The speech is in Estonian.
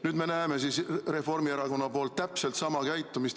Nüüd me näeme Reformierakonna täpselt samasugust käitumist.